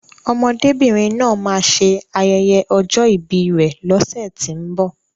Ọmọdébìnrin náà máa ṣe ayẹyẹ ọjọ́ ìbi rè lọ́sẹ̀tínbọ̀.